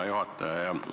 Hea juhataja!